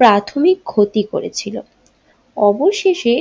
প্রাথমিক ক্ষতি করেছিল অবশেষে